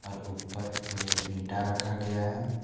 और ऊपर पे इंटा रखा गया है।